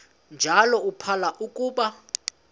njalo uphalo akuba